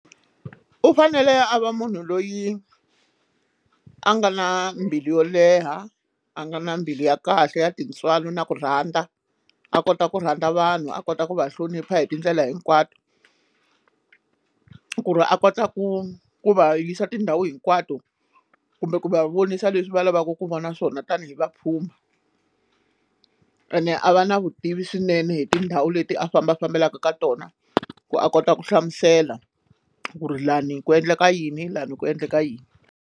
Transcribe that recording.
U fanele a va munhu loyi a nga na mbilu yo leha a nga na mbilu ya kahle ya tintswalo na ku rhandza a kota ku rhandza vanhu a kota ku va hlonipha hi tindlela hinkwato ku ri a kota ku ku va yisa tindhawu hinkwato kumbe ku va vonisa leswi va lavaka ku va na swona tanihi vapfhumba ene a va na vutivi swinene hi tindhawu leti a famba fambelaka ka tona ku a kota ku hlamusela ku ri lani ku endleka yini lani ku endleka yini.